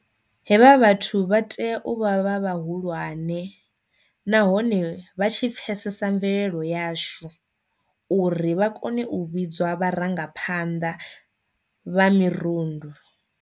Hevha vhathu vha tea u vha vha vhahulwane nahone vha tshi pfesesa mvelelo yashu uri vha kone u vhidzwa vharangaphanḓa vha mirundu.